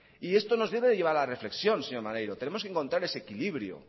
y esto nos debe llevar a la reflexión señor maneiro tenemos que encontrar ese equilibrio